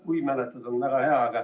Kui mäletad, on väga hea.